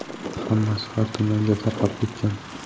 Hammasi har tomonga tarqab ketgan.